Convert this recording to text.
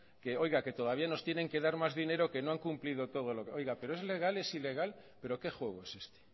que oiga que todavía nos tienen que dar más dinero que no han cumplido todo oiga pero es legal es ilegal pero qué juego es este